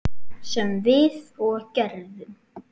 Sem við og gerðum.